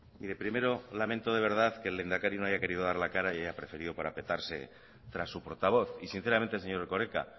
mire primero lamento de verdad que el lehendakari no haya querido dar la cara y haya preferido parapetarse tras su portavoz y sinceramente señor erkoreka